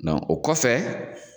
o kɔfɛ